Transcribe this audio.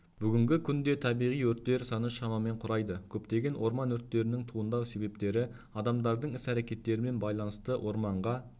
бүгінгі күнде табиғи өрттер саны шамамен құрайды көптеген орман өрттерінің туындау себептері адамдардың іс-әрекеттерімен байланысты орманға